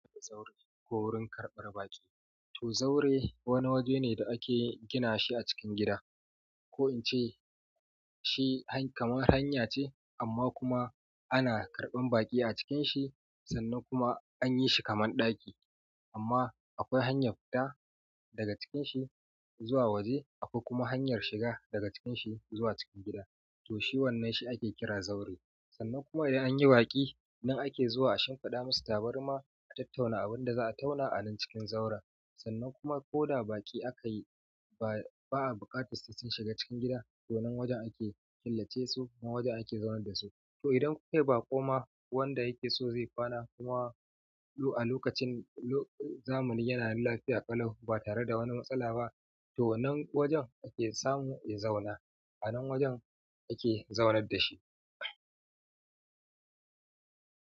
Zaure ko wurin karɓar baƙi. To zaure wani waje ne da ake gina shi a cikin gida. Ko in ce shi kamar hanya ce amma kuma ana karɓan baƙi a cikin shi sannan kuma an yi shi kamar ɗaki. Amma akwai hanya ta daga cikin shi zuwa waje akwai kuma hanyar shiga daga cikin shi zuwa cikin gida. To shi wannan shi ake kira zaure. Sannan kuma idan an yi baƙi idan ake zuwa a shimfiɗa musu tabarmi a tattauna abin da za a tana a nan cikin zaure. Sannan kuma ko da baƙi aka yi ba, ba a buƙatar su sun shiga cikin gida to nan wajen ake killace su nan wajen ake zaune da su. To idan kukayi baƙo ma wanda yakeso ya ƙwana kuma a lokacin zamani yana nan lafiya ƙalau batare da wani matsala ba to wannan wajen ake samu ya zauna anan wajen ake zaunar da shi.